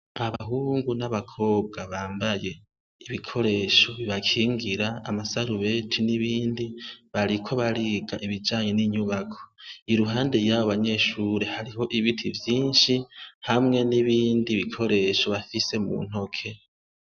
Abahungu n'abakobwa bambaye ibikoresho bibakingira amasarubeti n'ibindi, bariko bariga ibijanye n'inyubako. Iruhande yabo banyeshuri hariho ibiti vyinshi, hamwe n'ibindi bikoresho bafise mu ntoke.